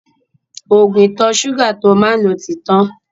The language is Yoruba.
Ògùn ìtọ̀ ṣúgà tó má ń lò ti tán